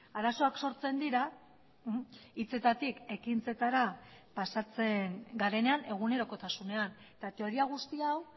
arazoak sortzen dira hitzetatik ekintzetara pasatzen garenean egunerokotasunean eta teoria guzti hau